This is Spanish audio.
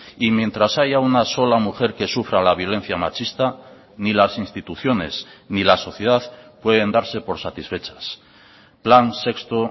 y mientras haya una sola mujer que sufra la violencia machista ni las instituciones ni la sociedad pueden darse por satisfechas plan sexto